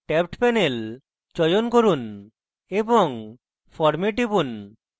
tabbed panel চয়ন করুন এবং form এ টিপুন